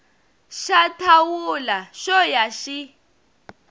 xa thawula xo ya xi